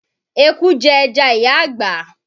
Eku jẹ ẹja ìyá àgbà.